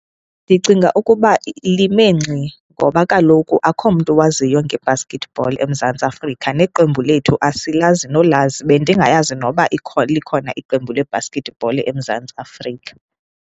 Ndicinga ukuba lime ngxi ngoba kaloku akukho mntu owaziyo ngebasketball eMzantsi Afrika neqembu lethu asilazi nolazi. Bendingayazi noba ikhona, likhona iqembu lebhaskithibhola eMzantsi Afrika.